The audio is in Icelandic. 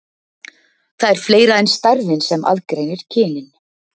Það er fleira en stærðin sem aðgreinir kynin.